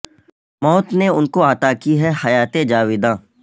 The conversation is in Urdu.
موت نے ان کو عطا کی ہے حیات جاوداں